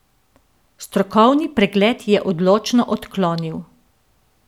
Strokovni pregled je odločno odklonil.